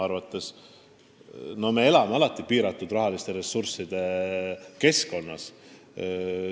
Eks me elame alati piiratud rahaliste ressursside tingimustes.